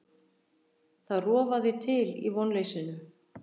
Það rofaði til í vonleysinu.